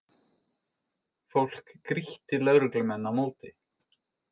Fólk grýtti lögreglumenn á móti